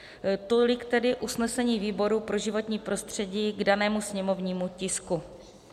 Tolik tedy usnesení výboru pro životní prostředí k danému sněmovnímu tisku.